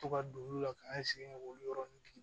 To ka don olu la k'an sigi k'olu yɔrɔni